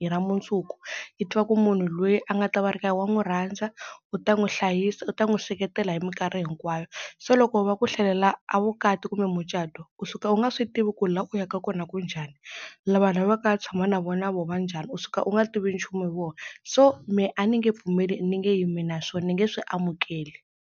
hi ra mundzuku, i ti va ku munhu loyi a nga ta va a ri ka yena wa n'wi rhandza, u ta n'wi hlayisa, u ta n'wi seketela hi minkarhi hinkwayo. Se loko va ku hlelela a vukati kumbe mucato u suka u nga swi tivi ku la u yaka kona ku njhani, lava yaka u ya tshama na vo na vona va njhani u suka u nga tivi nchumu hi vona, so me a ni nge pfumeli ni nge yimi na swona ni nge swi amukeli.